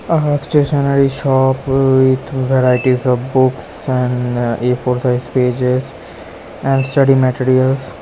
Aa stationery shop with varieties of books and a four size pages and study materials.